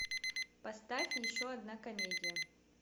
поставь еще одна комедия